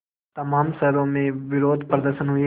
तमाम शहरों में विरोधप्रदर्शन हुए